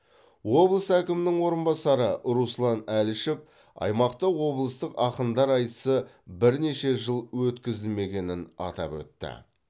облыс әкімінің орынбасары руслан әлішев аймақта облыстық ақындар айтысы бірнеше жыл өткізілмегенін атап өтті